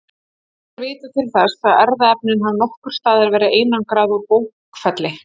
Ekki er vitað til þess að erfðaefni hafi nokkurs staðar verið einangrað úr bókfelli.